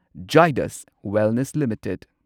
ꯓꯥꯢꯗꯁ wellness limited